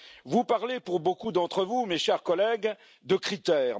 Vous parlez, pour beaucoup d'entre vous, mes chers collègues, de critères.